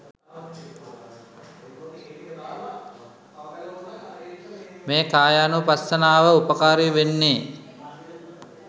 මේ කායානුපස්සනාව උපකාරී වෙන්නෙ.